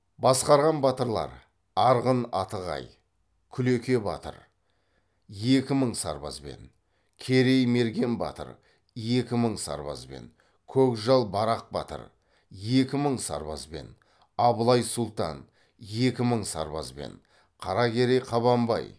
басқарған батырлар арғын атығай күлеке батыр екі мың сарбазбен керей мерген батыр екі мың сарбазбен көкжал барақ батыр екі мың сарбазбен абылай сұлтан екі мың сарбазбен қаракерей қабанбай